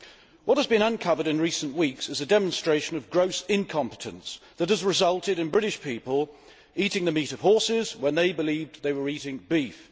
What has been uncovered in recent weeks is a demonstration of gross incompetence which has resulted in British people eating the meat of horses when they believed they were eating beef.